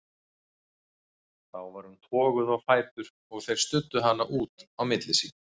Þá var hún toguð á fætur og þeir studdu hana út á milli sín.